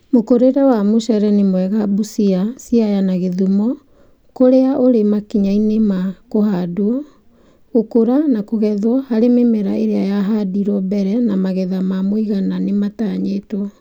Mũkũrĩre wa mucere nĩ mwega Busia, Siaya , na Kisumu kũrĩa ũrĩ makinya-inĩ ma kũhandwo, gũkũra na kũgethwo hari mĩmera ĩrĩa yahandirwo mbere na magetha ma mũigana nĩmatanyĩtwo